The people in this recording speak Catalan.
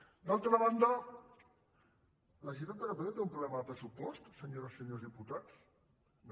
d’altra banda la generalitat de catalunya té un pro·blema de pressupost senyores i senyors diputats no